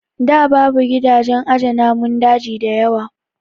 Da babu gidajen aje namun daji dayawa